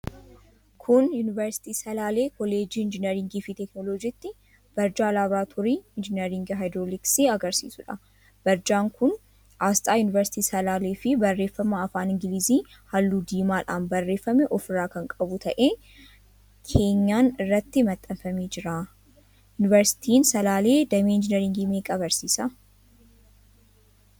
Kun Yuunivarsiitii Salaalee Kolleejjii Injiinaringiifi Teekinooloojiitti, barjaa laaboraatoorii Injiinaringii Haayidirooliksii agarsiisuudha. Barjaan kun aasxaa Yuunivarsiitii Salaaleefi barreeffama afaan Ingilizii halluu diimaadhaan barreeffame ofirraa kan qabu ta'ee, keenyan irratti maxxanfamee jira. Yuunivarsiitiin Salaalee damee Injiinaringii meeqa barsiisa?